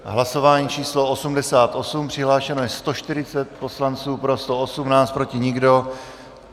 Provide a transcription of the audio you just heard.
Hlasování číslo 88, přihlášeno je 140 poslanců, pro 118, proti nikdo.